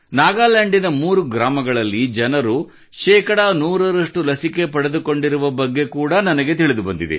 ನಾಗಾಲ್ಯಾಂಡಿನ ಮೂರು ಗ್ರಾಮಗಳಲ್ಲಿನ ಜನರು ಶೇಕಡಾ 100 ರಷ್ಟು ಲಸಿಕೆ ಪಡೆದುಕೊಂಡಿರುವ ಬಗ್ಗೆ ಕೂಡಾ ನನಗೆ ತಿಳಿದುಬಂದಿದೆ